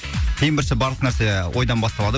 ең бірінші барлық нәрсе ойдан басталады